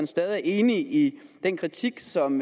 stadig er enig i den kritik som